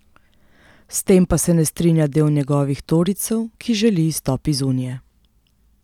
S tem pa se ne strinja del njegovih torijcev, ki želi izstop iz unije.